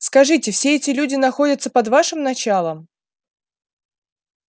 скажите все эти люди находятся под вашим началом